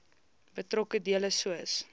betrokke dele soos